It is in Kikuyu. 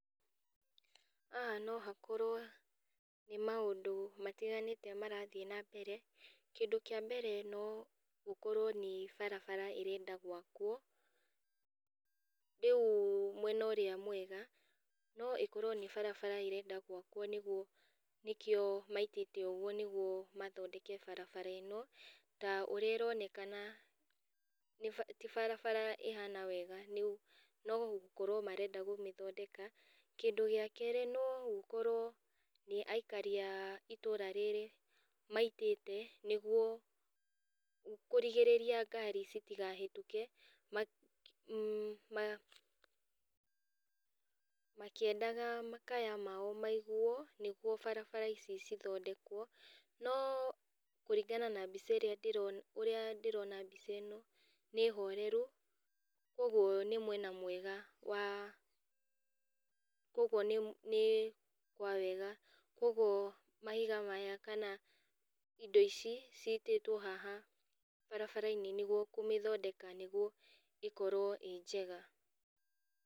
Haha nohakorwo nĩ maũndũ matiganĩte marathiĩ na mbere. Kĩndũ kĩa mbere no gũkorwo nĩ barabara ĩrenda gwakwo, rĩu mwena ũrĩa mwega, no ĩkorwo nĩ barabara ĩrenda gwakwo nĩguo nĩkio maitĩte ũguo nĩguo mathondeke barabara ĩno, ta ũrĩa ĩronekana nĩ bara ti barabara ĩhana wega nĩ no gũkorwo marenda kũmĩthondeka, kĩndũ gĩa kerĩ no gũkorwo nĩ aikari a itũra rĩrĩ maitĩte nĩguo kũrigĩrĩria ngari citikahĩtũke, ma ma makĩendaga makaya mao maiguo nĩguo barabara ici cithodekwo no kũringana na mbica ĩrĩa, ndĩrona ũrĩa ndĩrona mbica ĩno nĩ horeru kwoguo nĩ mwena mwega wa, kwoguo nĩ nĩ kwawega kwoguo, mahiga maya kana indo ici citĩtwo haha barabarainĩ nĩguo kũmĩthondeka nĩguo ĩkorwo ĩ njega.